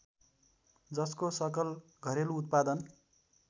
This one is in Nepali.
जसको सकल घरेलु उत्पादन